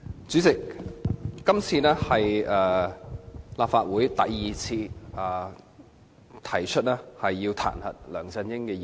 主席，今次是立法會第二次提出彈劾梁振英的議案。